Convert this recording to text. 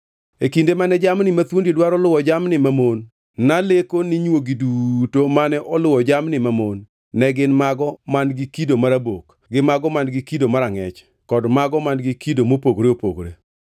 “E kinde mane jamni mathuondi dwaro luwo jamni mamon, naleko ni nywogi duto mane oluwo jamni mamon ne gin mago man-gi kido marabok gi mago man-gi kido marangʼech kod mago man-gi kido mopogore opogore.